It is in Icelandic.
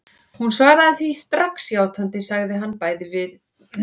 Hún svaraði því strax játandi, sagði að hann væri bæði duglegur og verklaginn.